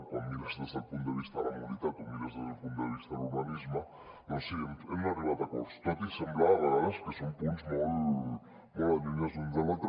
quan ho mires des del punt de vista de la mobilitat o ho mires des del punt de vista de l’urbanisme doncs sí hem arribat a acords tot i semblar a vegades que són punts molt allunyats l’un de l’altre